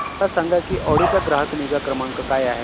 मला सांग की ऑडी चा ग्राहक निगा क्रमांक काय आहे